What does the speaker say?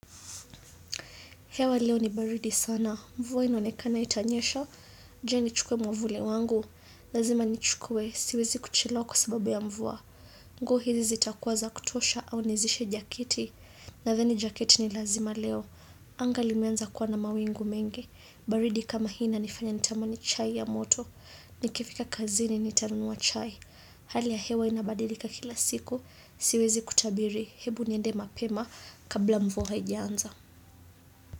Hewa leo ni baridi sana. Mvua inaonekana itanyesha. Je nichukue mwavuli wangu. Lazima nichukue. Siwezi kuchelewa kwa sababu ya mvua. Nguo hizi zitakuwa za kutosha au nizishe jakiti. Nathani jaketi ni lazima leo. Anga limeanza kuwa na mawingu mengi. Baridi kama hii inanifanya nitamani chai ya moto. Nikifika kazini nitanunua chai. Hali ya hewa inabadilika kila siku. Siwezi kutabiri. Hebu niende mapema kabla mvua haijaanza.